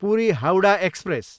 Puri, Howrah express